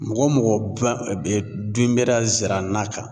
Mɔgɔ mɔgɔ dunbɛra zirana kan